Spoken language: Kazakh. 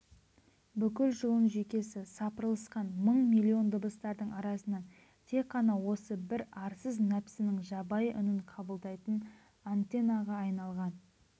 бүкіл жұлын-жүйкесі сапырылысқан мың-миллион дыбыстардың арасынан тек қана осы бр арсыз нәпсінің жабайы үнін қабылдайтын антеннаға айналған